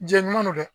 Jɛɲɔgɔn don dɛ